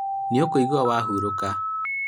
nĩũkũgwa harũrũka